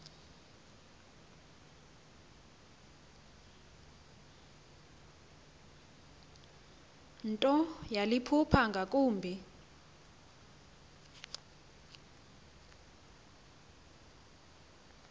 nto yaliphupha ngakumbi